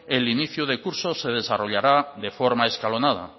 el inicio de curso se desarrollará de forma escalonada